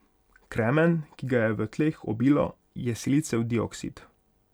Kremen, ki ga je v tleh obilo, je silicijev dioksid.